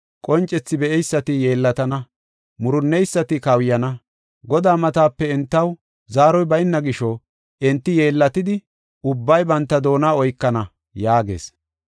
Qoncethi be7eysati yeellatana; murunneysati kawuyana. Godaa matape entaw zaaroy bayna gisho, enti yeellatidi, ubbay banta doona oykana” yaagees.